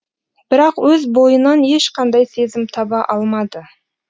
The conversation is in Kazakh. бірақ өз бойынан ешқандай сезім таба алмады